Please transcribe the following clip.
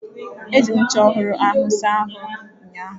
Eji m ncha ọhụrụ ahụ saa ahụ ụnyaahụ.